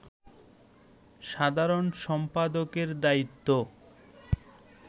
সাধারণ সম্পাদকের দায়িত্ব